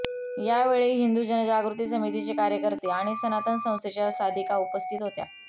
या वेळी हिंदु जनजागृती समितीचे कार्यकर्ते आणि सनातन संस्थेच्या साधिका उपस्थित होत्या